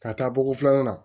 Ka taa bɔ ko filanan na